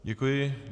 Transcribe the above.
Děkuji.